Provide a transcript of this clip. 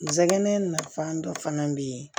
N sɛgɛn nafan dɔ fana bɛ yen